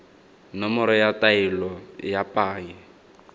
nomoro ya taelo ya paye